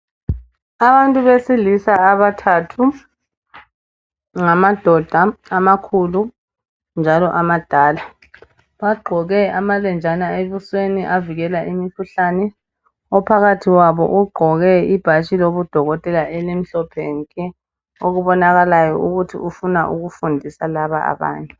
Abantu besililsa abathathu ngamadoda amakhulu njalo amadala bagqoke amalenjana ebusweni avikela imikhuhlane ophakathi kwabo ugqoke ibhatshi lobudokotela elimhlophe nke okubonakalayo ukuthi ufuna ukufundisa laba abantu